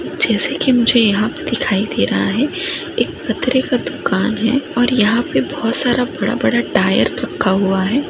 जेसे की मुझे दिखाई दे रहा है एक पतरे का दुकान है और यहां पे बहुत सारे बड़ा बड़ा टायर रखा हुआ है।